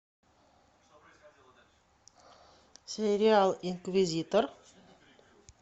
сериал инквизитор